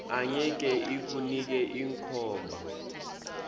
angeke ikunike inkhomba